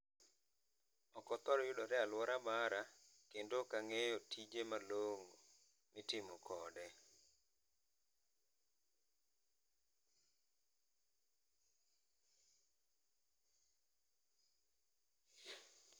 Ok othor yudore aluora mara to ok ang'eyo tije malong'o mitiyo kode